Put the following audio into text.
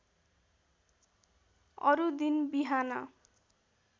अरू दिन बिहान